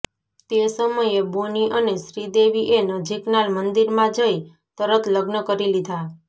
તે સમયે બોની અને શ્રીદેવી એ નજીકના મંદિરમાં જઈ તરત લગ્ન કરી દીધા